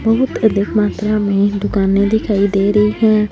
बहुत अधिक मात्रा में दुकानें दिखाई दे रही हैं।